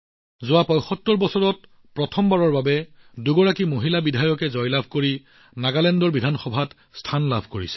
নাগালেণ্ডত ৭৫ বছৰত প্ৰথমবাৰৰ বাবে দুগৰাকী মহিলা বিধায়কে তেওঁলোকৰ বিজয়ৰ জৰিয়তে বিধানসভাত উপস্থিত হৈছে